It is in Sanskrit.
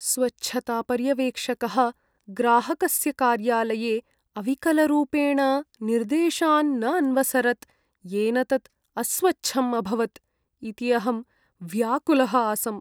स्वच्छतापर्यवेक्षकः ग्राहकस्य कार्यालये अविकलरूपेण निर्देशान् न अन्वसरत्, येन तत् अस्वच्छम् अभवत् इति अहं व्याकुलः आसम्।